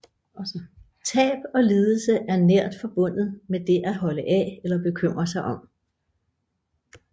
Tab og lidelse er nært forbundet med det at holde af eller bekymre sig om